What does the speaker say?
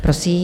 Prosím.